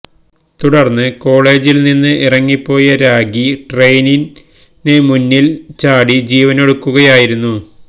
തുടര്ന്ന് കോളേജില്നി ന്ന് ഇറങ്ങിപ്പോയ രാഖി ട്രെയിനിന് മുന്നില് ചാടി ജീവനൊടുക്കുകയായിരുന്നു